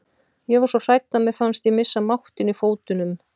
Ég var svo hrædd að mér fannst ég missa máttinn í fótunum.